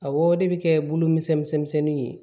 Awɔ o de bɛ kɛ bulu misɛnnin ye